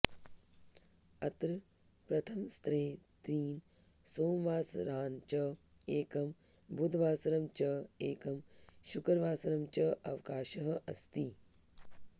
अत्र प्रथमसत्रे त्रीन् सोमवासरान् च एकं बुधवासरम् च एकं शुक्रवासरं च अवकाशः अस्ति